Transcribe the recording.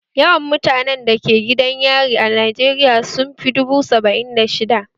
Yawan mutanen da ke gidan yari a Najeriya sun fi dubu saba'in da shidda